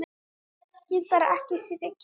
Gat bara ekki setið kyrr.